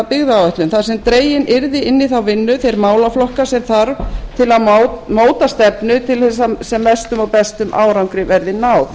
byggðaáætlun þar sem dregnir yrðu inn í þá vinnu þeir málaflokkar sem þarf til að móta stefnu alla á sem mestum og bestum árangri verði náð